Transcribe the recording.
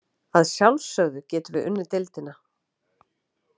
Að sjálfsögðu getum við unnið deildina.